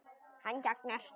Hann þagnar.